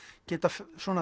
geta